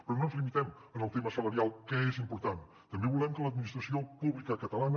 però no ens limitem al tema salarial que és important també volem que l’administració pública catalana